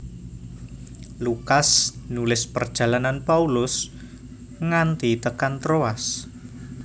Lukas nulis perjalanan Paulus nganti tekan Troas